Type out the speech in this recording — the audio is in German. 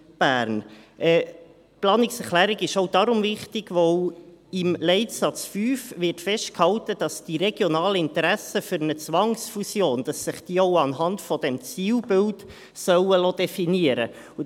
Die Planungserklärung ist auch deshalb wichtig, weil im Leitsatz 5 festgehalten wird, dass sich die regionalen Interessen für Zwangsfusionen auch anhand dieses Zielbilds definieren lassen sollen.